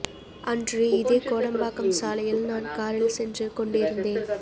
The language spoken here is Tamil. அன்று இதே கோடம்பாக்கம் சாலையில் நான் காரில் சென்று கொண்டிருந்தேன்